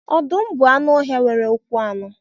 Ọdụm bụ anụ ọhịa nwere ụkwụ anọ